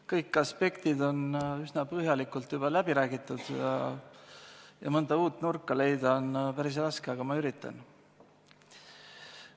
Kõik aspektid on üsna põhjalikult juba läbi räägitud ja mõnda uut nurka leida on päris raske, aga ma üritan.